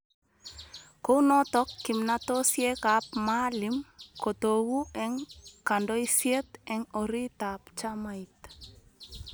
Kou notok kimnatosiekab Maalim kotoku eng kandoiset eng oriitab chamait.